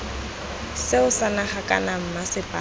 seo sa naga kana mmasepala